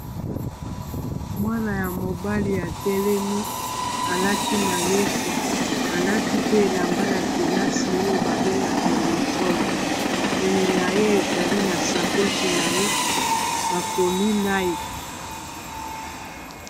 mwana ya mobali ya telemi alati maneti alati pe elamba ya kelasi oyo babengaka uniforme pene na ye ezali na sakoshi na ye bakomi naik